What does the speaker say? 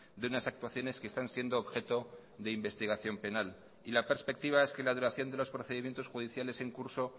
de unas actuaciones que están siendo objeto de investigación penal y la perspectiva es que la duración de los procedimientos judiciales en curso